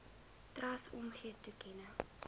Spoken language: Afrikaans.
trust omgee toekenning